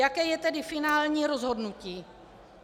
Jaké je tedy finální rozhodnutí.